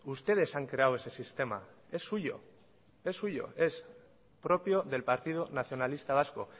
ustedes han creado ese sistema es suyo es suyo es propio del partido nacionalista vasco